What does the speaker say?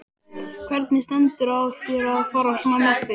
Hvernig stendur á þér að fara svona með þig?